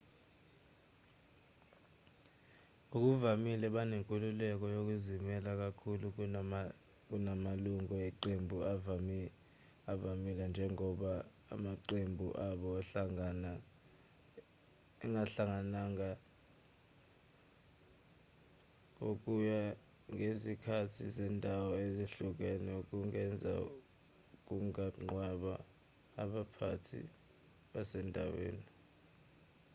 ngokuvamile banenkululeko yokuzimela kakhulu kunamalungu eqembu avamile njengoba amaqembu abo angahlangana ngokuya ngezikhathi zendawo ezihlukene okungenzeka kungaqondwa abaphathi basendaweni